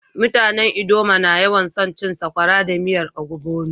Mutanen ldoma na yawan so cin sakwara da miyan ogbono.